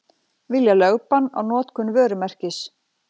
Vilja lögbann á notkun vörumerkis